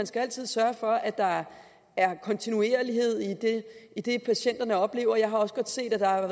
skal sørge for at der er kontinuerlighed i det patienterne oplever jeg har også godt set at der